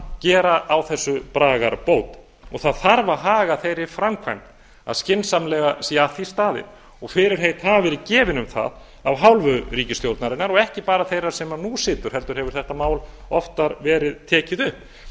gera á þessu bragarbót og það þarf að haga þeirri framkvæmd að skynsamlega sé að því staðið og fyrirheit hafa verið gefin um það af hálfu ríkisstjórnarinnar og ekki bara þeirrar sem nú situr heldur hefur þetta mál oftar verið tekið upp